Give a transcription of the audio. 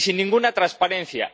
Y sin ninguna transparencia.